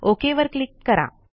okay वर click करा